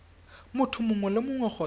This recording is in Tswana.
motho mongwe le mongwe kgotsa